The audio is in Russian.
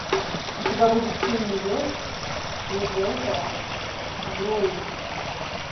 у тебя будет семь невест ефрейтора збруева